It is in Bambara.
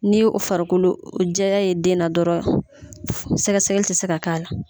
Ni farikolo jɛya ye den na dɔrɔn sɛgɛsɛgɛli tɛ se ka k'a la